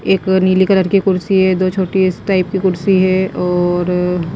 एक नीली कलर की कुर्सी है दो छोटी इस टाइप की कुर्सी है और --